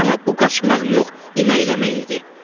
Amma bu qaçmaq yox, iməkləmək idi.